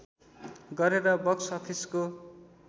गरेर बक्स अफिसको